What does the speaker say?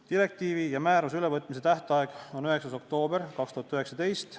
Direktiivi ja määruse ülevõtmise tähtaeg on 9. oktoober 2019.